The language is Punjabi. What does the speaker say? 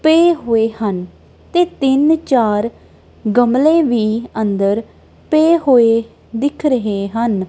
ਪਏ ਹੋਏ ਹਨ ਤੇ ਤਿੰਨ ਚਾਰ ਗਮਲੇ ਵੀ ਅੰਦਰ ਪਏ ਹੋਏ ਦਿਖ ਰਹੇ ਹਨ।